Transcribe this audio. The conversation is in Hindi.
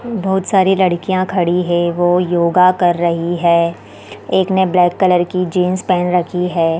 बहुत सारी लड़कियाँ खड़ी है वो योग कर रही है एक ने ब्लैक कलर की जींस पेहेन रखी है।